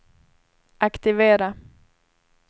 aktivera